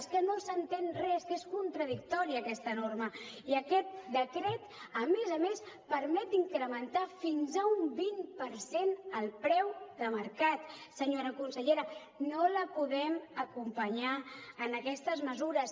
és que no s’entén res que és contradictòria aquesta norma i aquest decret a més a més permet incrementar fins a un vint per cent el preu de mercat senyora consellera no la podem acompanyar en aquestes mesures